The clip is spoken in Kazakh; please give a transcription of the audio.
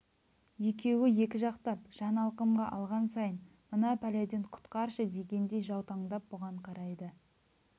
екеуі екі жақтап жан алқымға алған сайын мына пәледен құтқаршы дегендей жаутаңдап бұған қарайды